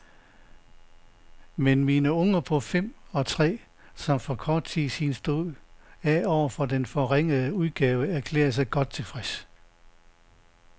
Men mine unger på fem og tre, som for kort siden stod af over for den forrige udgave, erklærede sig godt tilfredse.